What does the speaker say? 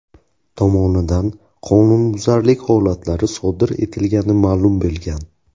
tomonidan qonunbuzarlik holatlari sodir etilgani ma’lum bo‘lgan.